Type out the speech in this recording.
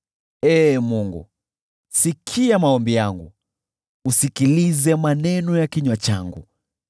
Ee Mungu, sikia maombi yangu, usikilize maneno ya kinywa changu.